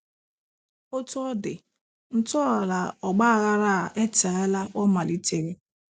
Otú ọ dị, ntọala ọgbaghara a etela ọ malitere.